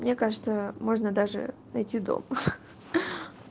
мне кажется можно даже найти дом